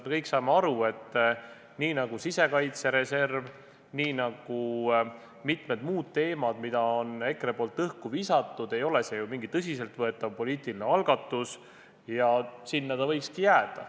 Me kõik saame aru, et nii nagu sisekaitsereserv, nii nagu mitmed muud teemad, mis EKRE on õhku visanud, ei ole see tõsiselt võetav poliitiline algatus, ja sinna ta võikski jääda.